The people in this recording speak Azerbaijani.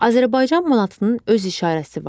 Azərbaycan manatının öz işarəsi var.